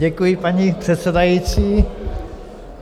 Děkuji, paní předsedající.